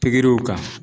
Pikiriw kan